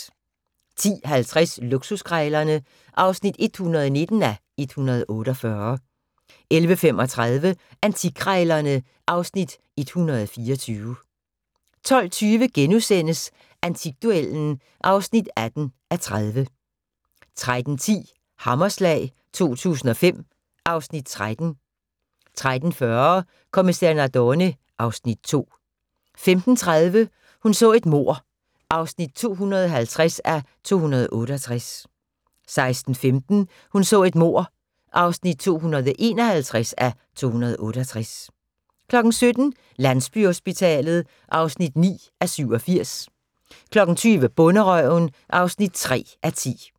10:50: Luksuskrejlerne (119:148) 11:35: Antikkrejlerne (Afs. 124) 12:20: Antikduellen (18:30)* 13:10: Hammerslag 2005 (Afs. 13) 13:40: Kommissær Nardone (Afs. 2) 15:30: Hun så et mord (250:268) 16:15: Hun så et mord (251:268) 17:00: Landsbyhospitalet (9:87) 20:00: Bonderøven (3:10)